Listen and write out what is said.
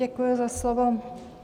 Děkuji za slovo.